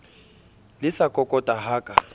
le sa kokota ha ka